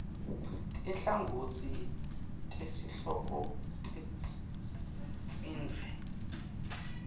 tinhlangotsi tesihloko tidzingidvwe